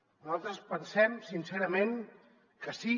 nosaltres pensem sincerament que sí